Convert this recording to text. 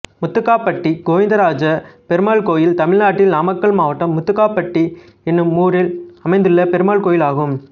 முத்துக்காப்பட்டி கோவிந்தராஜ பெருமாள் கோயில் தமிழ்நாட்டில் நாமக்கல் மாவட்டம் முத்துக்காப்பட்டி என்னும் ஊரில் அமைந்துள்ள பெருமாள் கோயிலாகும்